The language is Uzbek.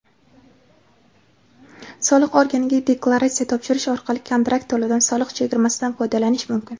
Soliq organiga deklaratsiya topshirish orqali kontrakt to‘lovida soliq chegirmasidan foydalanish mumkin.